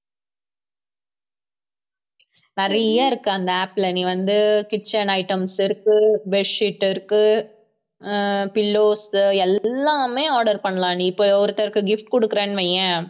நிறைய இருக்கு அந்த app ல நீ வந்து kitchen items இருக்கு bed sheet இருக்கு ஆஹ் pillows எல்லாமே order பண்ணலாம் நீ இப்ப ஒருத்தருக்கு gift குடுக்குறேன்னு வையேன்